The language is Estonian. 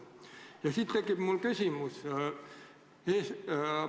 Ja siit on mul tekkinud küsimus.